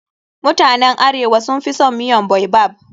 Mutanen arewa sun fi son miyan baobab.